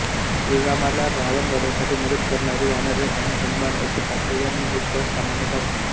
श्रीरामाला रावण वधासाठी मदत करणारी वानरे आणि हनुमान अशी पात्रे या नृत्यात सामान्यतः असतात